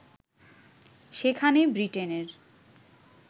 সেখানে বৃটেনের